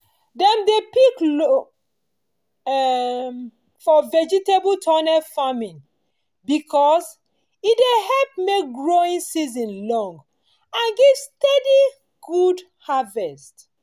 dem dey pick loam um for vegetable tunnel farming because e dey help make growing season long and give steady good harvest.